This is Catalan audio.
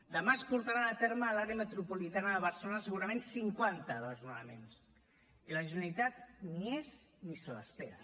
demà es portaran a terme a l’àrea metropolitana de barcelona segurament cinquanta desnonaments i la generalitat ni hi és ni se l’espera